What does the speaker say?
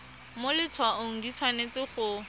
mo letshwaong di tshwanetse go